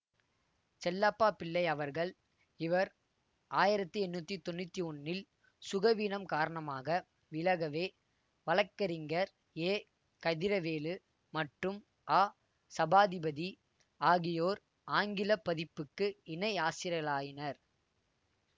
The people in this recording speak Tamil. செல்லப்பாபிள்ளை அவர்கள் இவர் ஆயிரத்தி எண்ணூத்தி தொன்னூத்தி ஒன்னில் சுகவீனம் காரணமாக விலகவே வழக்கறிஞர் ஏகதிரவேலு மற்றும் அசபாதிபதி ஆகியோர் ஆங்கில பதிப்புக்கு இணைஆசிரியர்களாயினர்